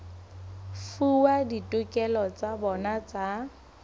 fuwa ditokelo tsa bona tsa